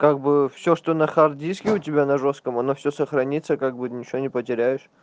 как бы все что на хард диске у тебя на жёстком оно все сохранится как будет ничего не потеряешь